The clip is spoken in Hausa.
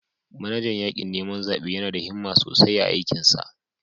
Manajan yakin neman zabe yana da himma sosai a aikinsa.